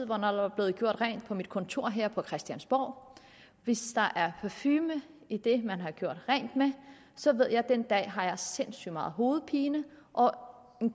hvornår der er blevet gjort rent på mit kontor her på christiansborg hvis der er parfume i det man har gjort rent med så ved jeg at den dag har jeg sindssygt meget hovedpine og